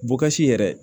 Bukasi yɛrɛ